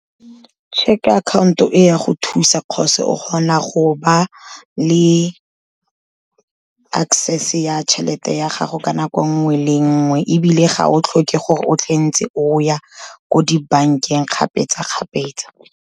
Cheque account-o e ya go thusa cause o kgona go ba le access-e ya tšhelete ya gago ka nako nngwe le nngwe, ebile ga o tlhoke gore o tle ntse o ya ko dibankeng kgapetsa-kgapetsa.